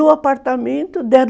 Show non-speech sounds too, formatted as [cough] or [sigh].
[unintelligible] apartamento [unintelligible]